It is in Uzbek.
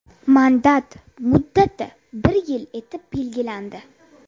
Mandat muddati bir yil etib belgilandi.